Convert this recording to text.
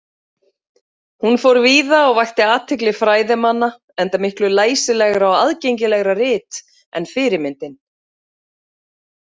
Hún fór víða og vakti athygli fræðimanna, enda miklu læsilegra og aðgengilegra rit en fyrirmyndin.